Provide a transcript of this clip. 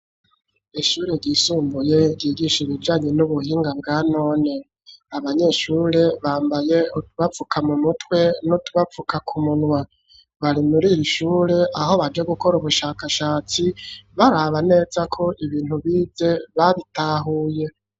Ishure ryisumbuye ryigisha ibijanye n'ubuhinga bwa none, abanyeshure bambaye utubapfuka mu mutwe n'utubapfuka ku munwa bari muri iri ishure, aho baje gukora ubushakashatsi, baraba neza ko ibintu bize babitahuye.